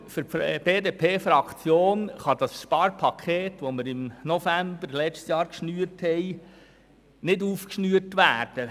Aus Sicht der BDPFraktion kann das Sparpaket, welches wir im November letzten Jahres schnürten, nicht aufgeschnürt werden.